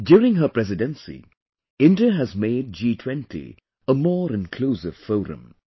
During her presidency, India has made G20 a more inclusive forum